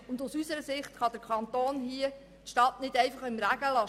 Aus unserer Sicht kann der Kanton die Stadt hier nicht einfach im Regen stehen lassen.